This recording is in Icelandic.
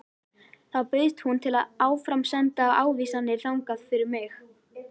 Þá bauðst hún til að áframsenda ávísanirnar þangað fyrir mig.